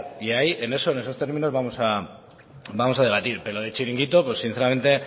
y ahí en esos términos vamos a debatir pero de chiringuito pues sinceramente